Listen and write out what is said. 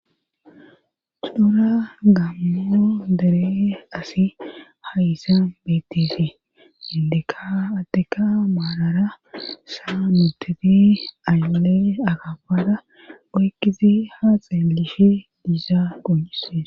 Cora gammo deere assi hayssa beettizaysi indekka adetikka maalara saa nuteti ayle akafara oykidi haa xeelishe diizayssa qoncissees